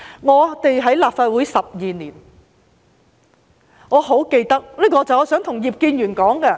我在立法會12年，我很想對葉建源議員說一件事。